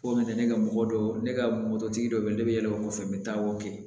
O nana ne ka mɔgɔ dɔ ne ka mototigi dɔ bɛ yen ne bɛ yɛlɛ o kɔfɛ n bɛ taa o kɛ